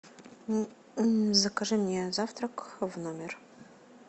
закажи мне завтрак в номер